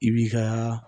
I b'i ka